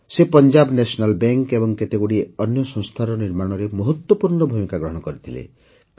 ସେ Punjab National Bank ଏବଂ କେତେଗୁଡ଼ିଏ ଅନ୍ୟ ସଂସ୍ଥାର ନିର୍ମାଣରେ ମହତ୍ୱପୂର୍ଣ୍ଣ ଭୂମିକା ଗ୍ରହଣ କରିଥିଲେ